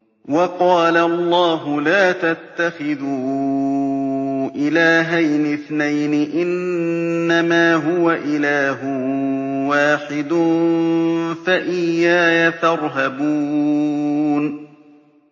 ۞ وَقَالَ اللَّهُ لَا تَتَّخِذُوا إِلَٰهَيْنِ اثْنَيْنِ ۖ إِنَّمَا هُوَ إِلَٰهٌ وَاحِدٌ ۖ فَإِيَّايَ فَارْهَبُونِ